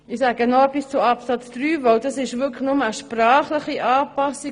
Ich sage noch etwas zu Absatz 3, weil es sich dort nur um eine sprachliche Anpassung handelt.